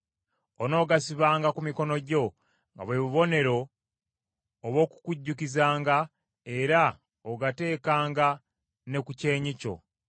Onoogasibanga ku mikono gyo, nga bwe bubonero obw’okukujjukizanga, era ogatekanga ne ku kyenyi kyo.